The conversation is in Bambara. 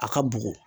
A ka bugu